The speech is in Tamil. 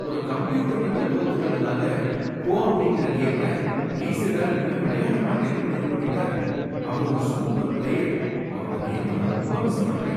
ஒரு கம்ப்யூட்டர்கிட்ட தோத்துட்டதுனால "கோ" அப்படிங்கற கேமை லீ செடால் இனிமேல் விளையாட மாட்டேன்னு முடிவு பண்ணிட்டாரு. அவர் ஒரு சூப்பர் பிளேயர், அவரோட கேம நான் ரொம்ப மிஸ் பண்றேன்.